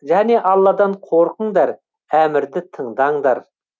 және алладан қорқыңдар әмірді тыңдаңдар